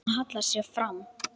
Hún hallar sér fram.